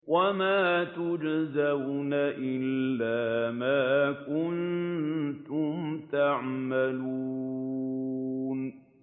وَمَا تُجْزَوْنَ إِلَّا مَا كُنتُمْ تَعْمَلُونَ